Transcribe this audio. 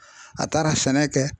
A taara sɛnɛ kɛ